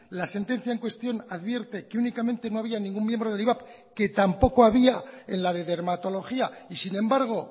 la sentencia en cuestión advierte que únicamente no había ningún miembro del ivap que tampoco había en la de dermatología y sin embargo